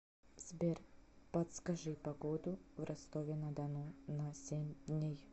сбер подскажи погоду в ростове на дону на семь дней